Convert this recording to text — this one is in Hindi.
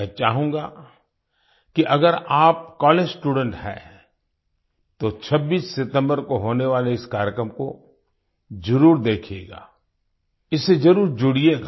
मैं चाहूँगा कि अगर आप कॉलेज स्टूडेंट हैं तो 26 सितम्बर को होने वाले इस कार्यक्रम को जरुर देखिएगा इससे जरुर जुड़िएगा